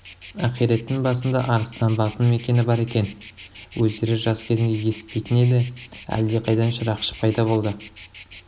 ақиреттің басында арыстанбаптың мекені бар екен өздері жас кезінде есітпейтін еді әлде қайдан шырақшы пайда болды